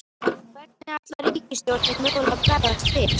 Hvernig ætlar ríkisstjórnin mögulega að bregðast við?